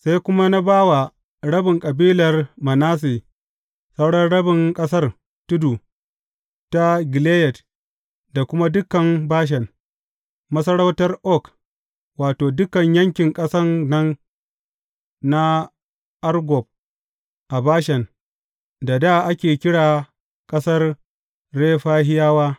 Sai kuma na ba wa rabin kabilar Manasse sauran rabin ƙasar tudu ta Gileyad da kuma dukan Bashan, masarautar Og Wato, dukan yankin ƙasan nan na Argob a Bashan da dā ake kira ƙasar Refahiyawa.